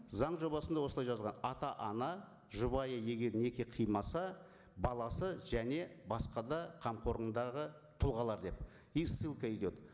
заң жобасында осылай жазған ата ана жұбайы егер неке қимаса баласы және басқа да қамқорындағы тұлғалар деп и ссылка идет